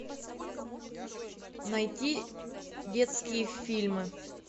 найти детские фильмы